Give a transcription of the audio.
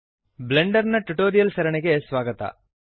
Blender ನ tutorials ಸರಣಿಗೆ ಸ್ವಾಗತ